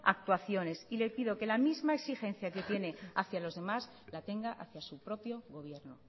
actuaciones y le pido que la misma exigencia que tiene hacia los demás la tenga hacia su propio gobierno